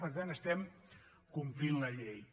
per tant estem complint la llei